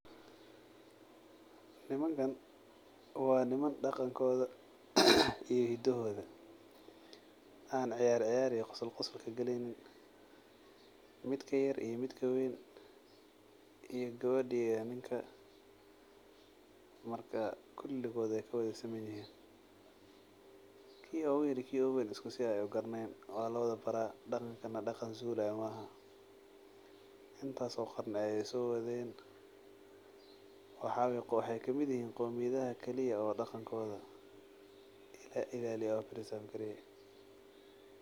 Nimankan wa niman daqankoda iyo hidahoda an ciyar ciyar iyo qosol qosol kagaleynin. Mid ka yar iyo midka weyn ki gewedha eh iyo ninka marka kuligod waay kawadasimanyihin, ki oguyar iyo ki uguweyn isku si ay ugaranayan , intas oo sano ay sowaden, waxay kamid yihin qomiyaha kaliya qadankoda iklaliya oo preserve-greyo.